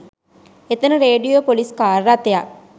එතැන radio police car රථයක්